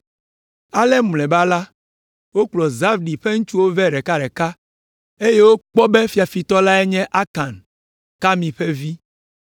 Ale mlɔeba la, wokplɔ Zabdi ƒe ŋutsuwo vɛ ɖekaɖeka, eye wokpɔ be fiafitɔ lae nye Akan, Karmi ƒe vi.